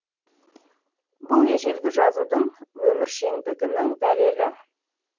бұл ежелгі жазудың өміршеңдігінің дәлелі